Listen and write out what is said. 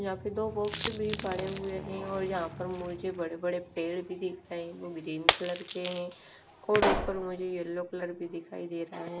Rapido box भी पड़े हुए हैं और यहां पर मुझे बड़े बड़े पेड़ भी दिखाइ वो ग्रीन कलर के हैं और ऊपर मुझे येलो कलर भी दिखाई दे रहा है।